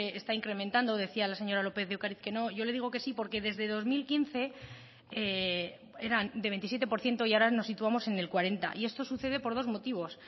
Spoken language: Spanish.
está incrementando decía la señora lópez de ocariz que no yo le digo que sí porque desde dos mil quince eran de veintisiete por ciento y ahora nos situamos en el cuarenta y esto sucede por dos motivos